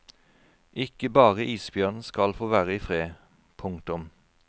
Ikke bare isbjørn skal få være i fred. punktum